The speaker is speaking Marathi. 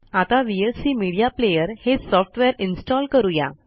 आता व्हीएलसी मीडिया प्लेयर हे सॉफ्टवेअर इन्स्टॉल करू या